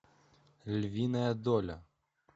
львиная доля